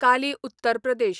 Kali Uttar Pradesh